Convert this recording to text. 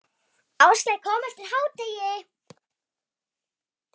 Áslaug kom eftir hádegi.